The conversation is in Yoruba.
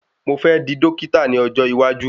Mo fẹ́ di Dọ́kítà ní ọjọ́ iwájú.